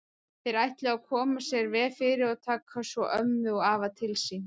Þeir ætluðu að koma sér vel fyrir og taka svo ömmu og afa til sín.